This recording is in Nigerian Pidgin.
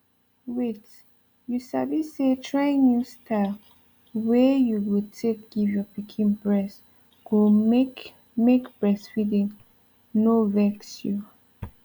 wait you sabi say trying new style wey you go take give your pikin breast go make make breastfeeding no vex you